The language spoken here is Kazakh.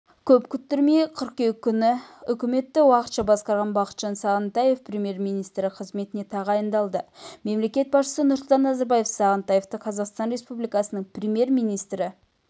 көп күттірмей қыркүйек күні үкіметті уақытша басқарған бақытжан сағынтаев премьер-министрі қызметіне тағайындалды мемлекет басшысы нұрсұлтан назарбаев сағынтаевты қазақстан республикасының премьер-министрі